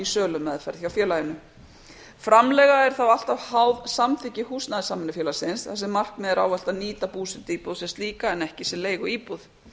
sölumeðferð hjá félaginu framleiga er þá alltaf háð samþykki húsnæðissamvinnufélagsins þar sem markmiðið er ávallt að nýta búsetuíbúð sem slíka en ekki sem leiguíbúð